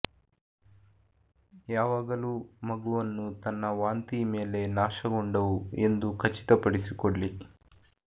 ಯಾವಾಗಲೂ ಮಗುವನ್ನು ತನ್ನ ವಾಂತಿ ಮೇಲೆ ನಾಶಗೊಂಡವು ಎಂದು ಖಚಿತಪಡಿಸಿಕೊಳ್ಳಿ